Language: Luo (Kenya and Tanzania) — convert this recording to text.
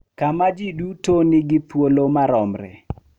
Kama ji duto nigi thuolo maromre